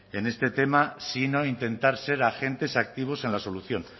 en este tema sino intentar ser agentes activos en la solución